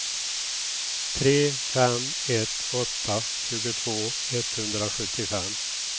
tre fem ett åtta tjugotvå etthundrasjuttiofem